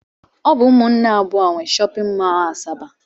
Ọ bụ ụmụnne abụọ a nwe shọpịn mọl Asaba